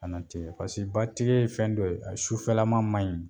nate pase ba tigɛ ye fɛn dɔ ye a sufɛlama ma ɲi.